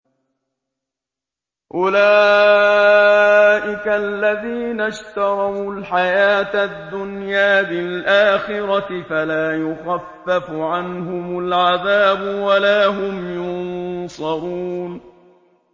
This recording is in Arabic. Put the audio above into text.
أُولَٰئِكَ الَّذِينَ اشْتَرَوُا الْحَيَاةَ الدُّنْيَا بِالْآخِرَةِ ۖ فَلَا يُخَفَّفُ عَنْهُمُ الْعَذَابُ وَلَا هُمْ يُنصَرُونَ